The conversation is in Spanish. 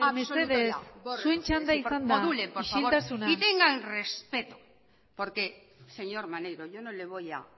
mesedez zuen txanda izan da isiltasuna modulen por favor y tenga el respeto porque señor maneiro yo no le voy a